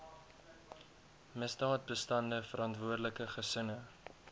misdaadbestande verantwoordelike gesinne